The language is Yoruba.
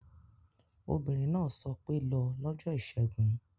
Obìnrin náà sọ pé 'lọ lọ́jọ́ ìṣẹ́gun